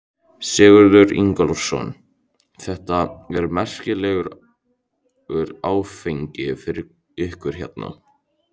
Sigurður Ingólfsson: Þetta er merkilegur áfangi fyrir ykkur hérna?